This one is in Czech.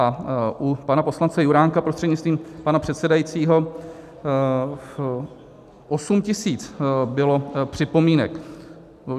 A u pana poslance Juránka prostřednictvím pana předsedajícího, 8 tisíc bylo připomínek.